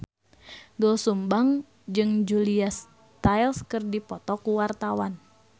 Doel Sumbang jeung Julia Stiles keur dipoto ku wartawan